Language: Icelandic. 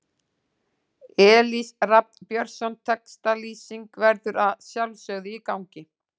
Elís Rafn Björnsson Textalýsing verður að sjálfsögðu í gangi.